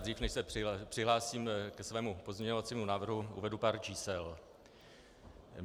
Dřív než se přihlásím ke svému pozměňovacímu návrhu, uvedu pár čísel.